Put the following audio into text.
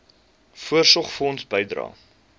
voorsorgfonds bydrae